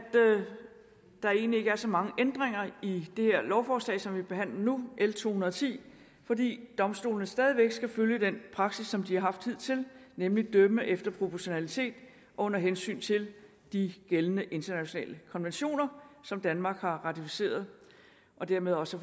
der egentlig ikke er så mange ændringer i det her lovforslag som vi behandler nu l to hundrede og ti fordi domstolene stadig væk skal følge den praksis som de har haft hidtil nemlig at dømme efter proportionalitet og under hensyn til de gældende internationale konventioner som danmark har ratificeret og dermed også